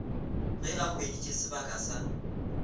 ge a hweditše sebaka sa